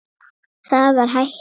Það var hættan.